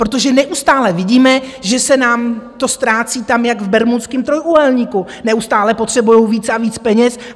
Protože neustále vidíme, že se nám to ztrácí tam jak v Bermudském trojúhelníku, neustále potřebujou víc a víc peněz.